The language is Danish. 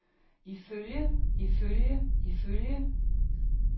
ifølge ifølge ifølge